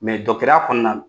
ya kɔɔna n